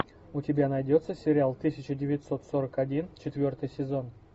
у тебя найдется сериал тысяча девятьсот сорок один четвертый сезон